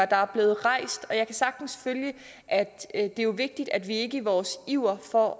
der er blevet rejst nogle og jeg kan sagtens følge at det er vigtigt at vi ikke i vores iver for